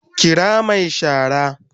Kira mai shara